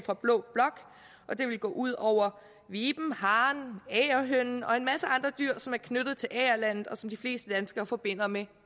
fra blå blok det vil gå ud over viben haren agerhønen og en masse andre dyr som er knyttet til agerlandet og som de fleste danskere forbinder med